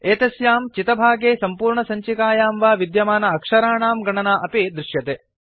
एतस्यां चितभागे सम्पूर्णसञ्चिकायां वा विद्यमान अक्षराणां गणना अपि दृश्यते